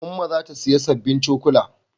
Umma za ta siya sabbin cokula